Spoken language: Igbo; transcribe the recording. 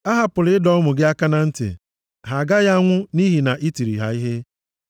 Ahapụla ịdọ ụmụ gị aka na ntị. Ha agaghị anwụ nʼihi na ị tiri ha ihe.